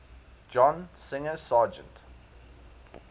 john singer sargent